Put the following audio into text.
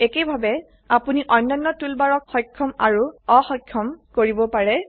একইভাবে আপোনি অন্যান্য টুলবাৰক সক্ষম আৰু অসক্ষম কৰিবও পাৰে